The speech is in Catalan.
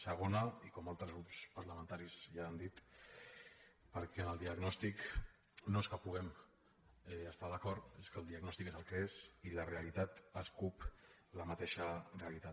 segona i com altres grups parlamentaris ja han dit perquè en el diagnòstic no és que hi puguem estar d’acord és que el diagnòstic és el que és i la realitat escup la mateixa realitat